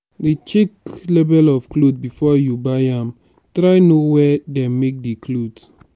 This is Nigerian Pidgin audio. dey check label of cloth before you buy am try know where dem make de cloth